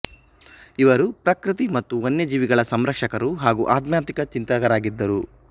ಇವರು ಪ್ರಕೃತಿ ಮತ್ತು ವನ್ಯಜೀವಿಗಳ ಸಂರಕ್ಷಕರು ಹಾಗು ಆಧ್ಯಾತ್ಮಿಕ ಚಿಂತಕರಾಗಿದ್ದರು